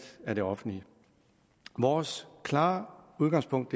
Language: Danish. af det offentlige vores klare udgangspunkt